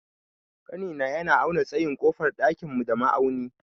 Ƙanina ya auna tsayin ƙofar ɗakin mu da ma'auni.